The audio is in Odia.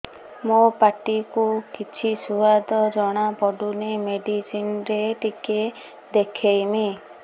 ମୋ ପାଟି କୁ କିଛି ସୁଆଦ ଜଣାପଡ଼ୁନି ମେଡିସିନ ରେ ଟିକେ ଦେଖେଇମି